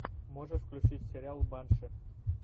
можешь включить сериал банши